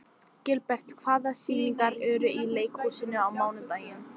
Gilbert, hvaða sýningar eru í leikhúsinu á mánudaginn?